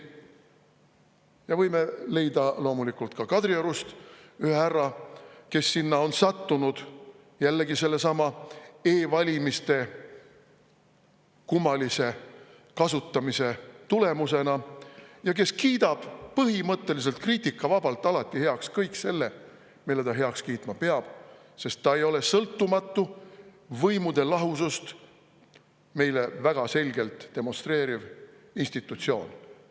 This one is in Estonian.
Ja võime leida loomulikult ka Kadriorust ühe härra, kes sinna on sattunud – jällegi sellesama e-valimiste kummalise kasutamise tulemusena – ja kes kiidab põhimõtteliselt kriitikavabalt alati heaks kõik selle, mille ta heaks kiitma peab, sest ta ei ole sõltumatu, võimude lahusust meile väga selgelt demonstreeriv institutsioon.